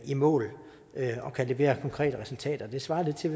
i mål og kan levere konkrete resultater det svarer lidt til at